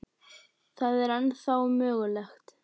Það er ennþá mögulegt.